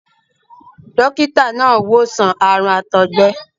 dókítà náà wò sàn àrùn àtọ̀gbẹ.